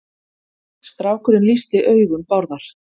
Strákurinn lýsti augum Bárðar.